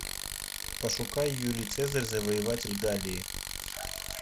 пошукай юлий цезарь завоеватель галлии